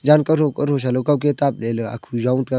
jan kotho kotho sa lo kowke taple la akhu zong taga.